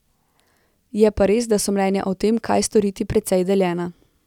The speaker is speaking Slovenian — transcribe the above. Je pa res, da so mnenja o tem, kaj storiti, precej deljena.